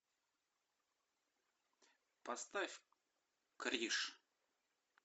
поставь криш